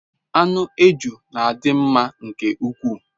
Anu eju n'adi nma nke ukwu